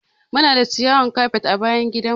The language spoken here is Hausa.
Muna da ciyawan kafet a bayan gidan mu.